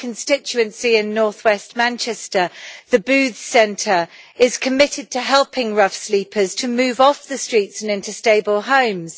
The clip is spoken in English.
In my constituency in north west Manchester the Booth Centre is committed to helping rough sleepers to move off the streets and into stable homes.